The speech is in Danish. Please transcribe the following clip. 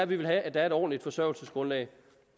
vil vi have at der er et ordentligt forsørgelsesgrundlag